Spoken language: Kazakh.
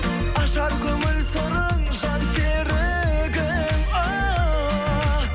ажар көңіл сырың жан серігің ооо